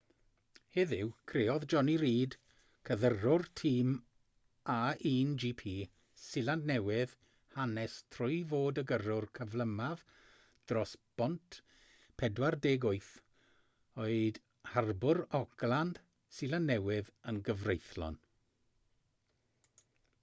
heddiw creodd jonny reid cydyrrwr tîm a1gp seland newydd hanes trwy fod y gyrrwr cyflymaf dros bont 48 oed harbwr auckland seland newydd yn gyfreithlon